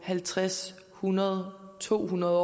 halvtreds hundrede to hundrede